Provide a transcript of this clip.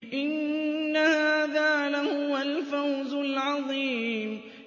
إِنَّ هَٰذَا لَهُوَ الْفَوْزُ الْعَظِيمُ